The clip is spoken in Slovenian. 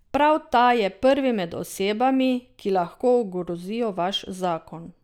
Prav ta je prvi med osebami, ki lahko ogrozijo vaš zakon.